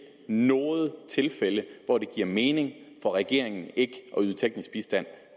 noget tilfælde hvor det giver mening for regeringen ikke at yde teknisk bistand